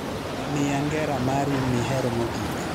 Mia ngera mari mihero mogik